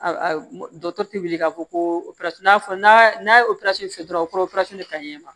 Dɔkitɛriw wuli ka fɔ ko fɔ n'a n'a ye operasɔn se dɔrɔn o bɛ taa ɲɛ ma